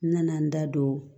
N nana n da don